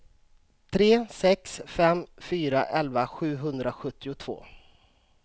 tre sex fem fyra elva sjuhundrasjuttiotvå